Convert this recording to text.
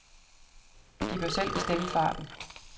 De bør selv bestemme farten.